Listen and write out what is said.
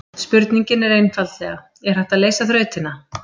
Spurningin er einfaldlega: Er hægt að leysa þrautina?